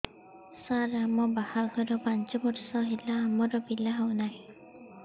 ସାର ଆମ ବାହା ଘର ପାଞ୍ଚ ବର୍ଷ ହେଲା ଆମର ପିଲା ହେଉନାହିଁ